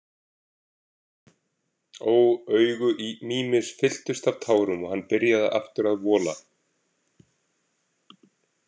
„Ó“ Augu Mímis fylltust af tárum og hann byrjaði aftur að vola.